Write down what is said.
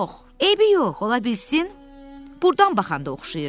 Eybi yox, ola bilsin burdan baxanda oxşayıram.